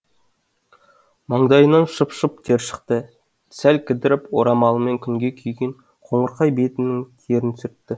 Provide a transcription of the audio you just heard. маңдайынан шып шып тер шықты сәл кідіріп орамалымен күнге күйген қоңырқай бетінің терін сүртті